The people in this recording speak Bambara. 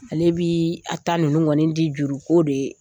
Ale bi a ta ninnu kɔni di juruko de